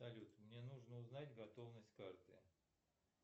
салют мне нужно узнать готовность карты